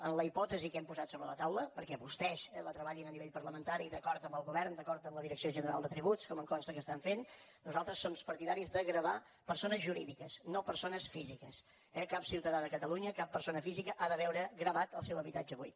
en la hipòtesi que hem posat sobre la taula perquè vostès la treballin en l’àmbit parlamentari i d’acord amb el govern d’acord amb la direcció general de tributs com em consta que estan fent nosaltres som partidaris de gravar persones jurídiques no persones físiques eh cap ciutadà de catalunya cap persona física ha de veure gravat el seu habitatge buit